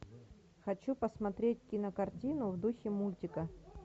хочу посмотреть кинокартину в духе мультика